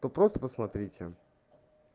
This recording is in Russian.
то просто посмотрите